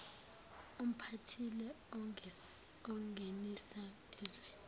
umphatheli ongenisa ezweni